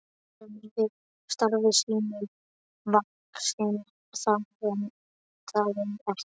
Starfi sínu vaxinn, það vantaði ekki.